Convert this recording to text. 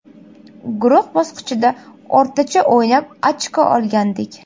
Guruh bosqichida o‘rtacha o‘ynab, ochko olgandik.